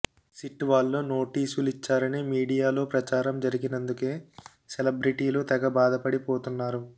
SIT వాళ్లు నోటీసులిచ్చారని మీడియాలో ప్రచారం జరిగినందుకే సెలబ్రిటీలు తెగ బాథపడిపోతున్నారు